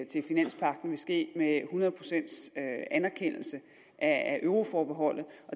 til finanspagten vil ske med en hundrede procents anerkendelse af euroforbeholdet